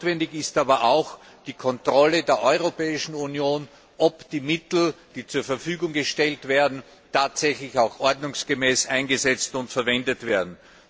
Notwendig ist aber auch die Kontrolle der Europäischen Union, ob die Mittel, die zur Verfügung gestellt werden, tatsächlich auch ordnungsgemäß eingesetzt und verwendet werden.